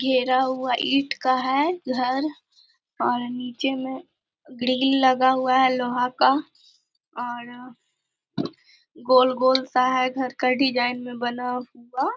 घेरा हुआ ईंट का है घर और नीचे में ग्रिल लगा हुआ है लोहा का और गोल-गोल सा है घर का डिजाइन मे बना हुआ।